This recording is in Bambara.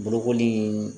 Bolokoli